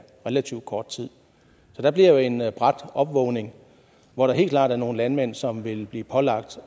relativt kort tid der bliver jo en brat opvågning hvor der helt klart er nogle landmænd som vil blive pålagt